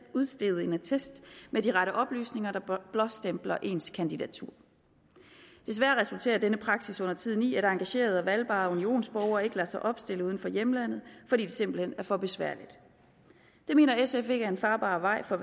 udstede en attest med de rette oplysninger der blåstempler ens kandidatur desværre resulterer denne praksis undertiden i at engagerede og valgbare unionsborgere ikke lader sig opstille uden for hjemlandet fordi det simpelt hen er for besværligt det mener sf ikke er en farbar vej for